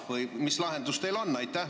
Või mis lahendus teil on?